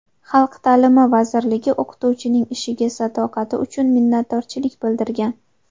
Xalq ta’limi vazirligi o‘qituvchining ishiga sadoqati uchun minnatdorchilik bildirgan.